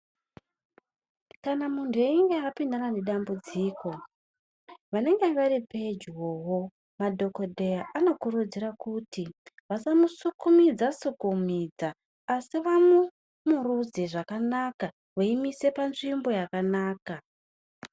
Kana muntu einge apindana nedambudziko vanenge varipedyovo madhokodheya anokurudzira kuti vasamusukumidza sukumidza asi vamumurudze zvakanaka veimuise panzvimbo yakanaka.